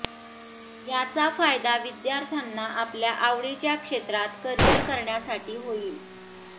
याचा फायदा विद्यार्थ्यांना आपल्या आवडीच्या क्षेत्रात करिअर करण्यासाठी होईल